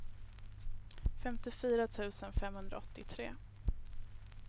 femtiofyra tusen femhundraåttiotre